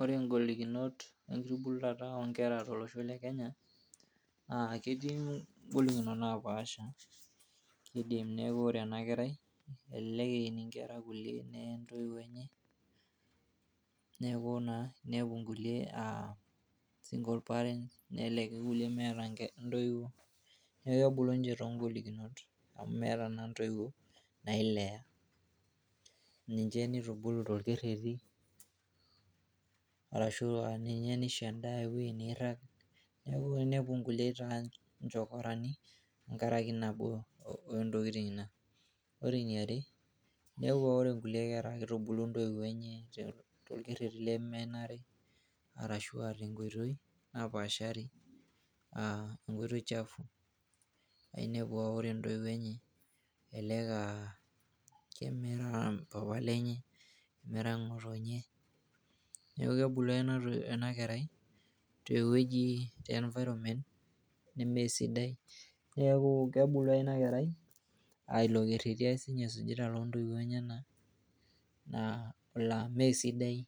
ore ingolikinot enkitubulata onkera tolosho le kenya naa ketii ingolikinot napaasha kidim neeku ore ena kerai elelek eini inkera kulie neye intoiwuo enye neeku naa, inepu inkulie uh, single parents nelelek ake kulie meeta intoiwuo neeku kebulu ninche tongolikinot amu meeta naa intoiwuo nailea niche nitubulu tolkerreti arashua ninye nisho endaa ewueji nirrag neeku inepu nkulie etaa inchokorani tenkarake nabo ontokitin ina ore eniare inepu aa ore inkulie kera kitubulu intoiwuo enye tolkerreti lemenare arashua tenkoitoi napaashari uh, enkoitoi chafu aa inepu aore intoiwuo enye elek aa kemera mpapa lenye nemera ng'otonye neeku kebulu ake ena kerai tewueji, te environment nemesidai neeku kebulu ake ina kerai ailo kerreti ake sinye esujita lontoiwuo enyenak naa, laa mesidai